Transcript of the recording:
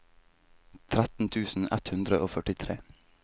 tretten tusen ett hundre og førtitre